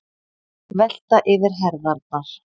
Velta yfir herðarnar.